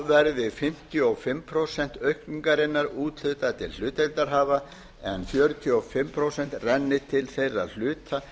verði fimmtíu og fimm prósent aukningarinnar úthlutað til hlutdeildarhafa en fjörutíu og fimm prósent renni til þeirra hluta